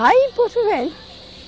Lá em Porto Velho.